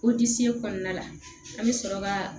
O disi kɔnɔna la an bɛ sɔrɔ ka